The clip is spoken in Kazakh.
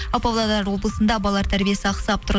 ал павлодар облысында балалар тәрбиесі ақсап тұр